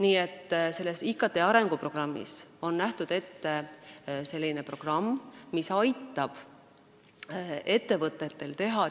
IKT arenguprogrammis on ette nähtud selline programm, mis aitab ettevõtetel digiauditeid teha.